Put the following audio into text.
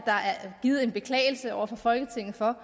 givet en beklagelse over for folketinget for